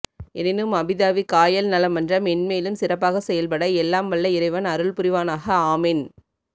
எனினும் அபுதாபி காயல் நல மன்றம் மென்மேலும் சிறப்பாக செயல்பட எல்லாம் வல்ல இறைவன் அருள் புரிவானாக ஆமீன்